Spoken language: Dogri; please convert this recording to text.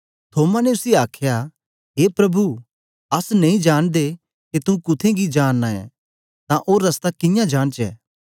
थोमा ने उसी आखया ए प्रभु अस नेई जांनदे के तू कुत्थें गी जा नां ऐं तां ओ रस्ता कियां जानचै